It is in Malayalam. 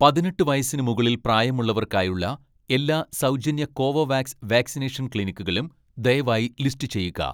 പതിനെട്ട് വയസ്സിന് മുകളിൽ പ്രായമുള്ളവർക്കായുള്ള എല്ലാ സൗജന്യ കോവോവാക്സ് വാക്സിനേഷൻ ക്ലിനിക്കുകളും ദയവായി ലിസ്റ്റ് ചെയ്യുക